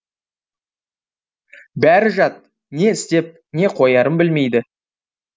бәрі жат не істеп не қоярын білмейді